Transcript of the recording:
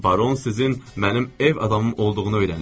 Baron sizin mənim ev adamım olduğunu öyrənib.